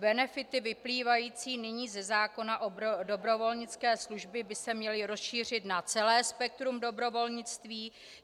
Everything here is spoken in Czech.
Benefity vyplývající nyní ze zákona o dobrovolnické službě by se měly rozšířit na celé spektrum dobrovolnictví.